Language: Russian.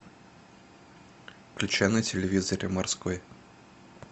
включай на телевизоре морской